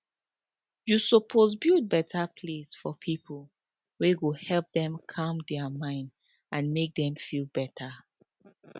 you suppose build better place for people wey go help them calm their mind and make them feel better